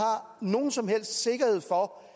nogen som helst sikkerhed for